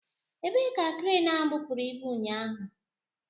Ebee ka kreenu ahụ bupụrụ ibu ụnyaahụ?